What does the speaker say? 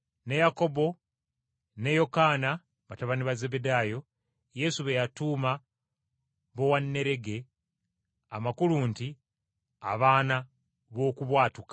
Yakobo ne Yokaana, batabani ba Zebbedaayo, Yesu be yatuuma “Bowanerege” amakulu nti, “Abaana b’Okubwatuka.”